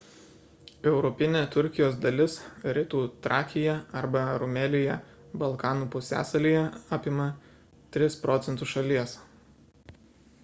europinė turkijos dalis rytų trakija arba rumelija balkanų pusiasalyje apima 3 % šalies